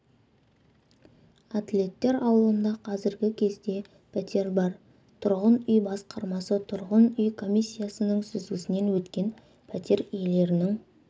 атлеттер ауылында қазіргі кезде пәтер бар тұрғын үй басқармасы тұрғын үй комиссиясының сүзгісінен өткен пәтер иелерінің